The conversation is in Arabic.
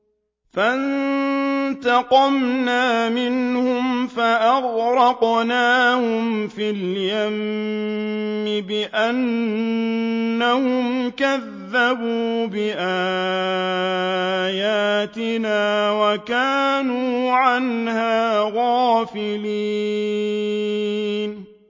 فَانتَقَمْنَا مِنْهُمْ فَأَغْرَقْنَاهُمْ فِي الْيَمِّ بِأَنَّهُمْ كَذَّبُوا بِآيَاتِنَا وَكَانُوا عَنْهَا غَافِلِينَ